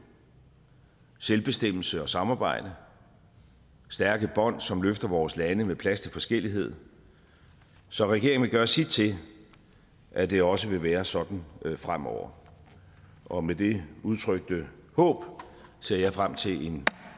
selvbestemmelse og samarbejde stærke bånd som løfter vores lande med plads til forskellighed så regeringen vil gøre sit til at det også vil være sådan fremover og med det udtrykte håb ser jeg frem til en